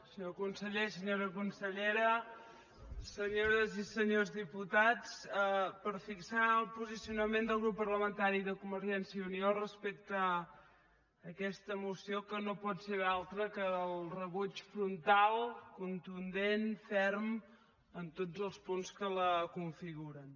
senyor conseller senyora consellera senyores i senyors diputats per fixar el posicionament del grup parlamentari de convergència i unió respecte a aquesta moció que no pot ser altre que el rebuig frontal contundent ferm en tots els punts que la configuren